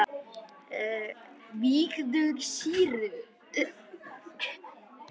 vígðu sýru.